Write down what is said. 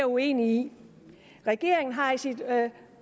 uenig i regeringen har i sit